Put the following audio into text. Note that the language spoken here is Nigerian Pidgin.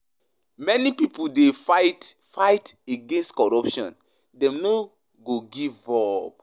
Many pipo dey fight fight against corruption; dem no go give up.